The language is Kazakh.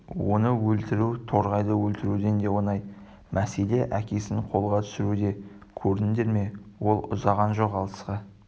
оны өлтіру торғайды өлтіруден де оңай мәселе әкесін қолға түсіруде көрдіңдер ме ол ұзаған жоқ алысқа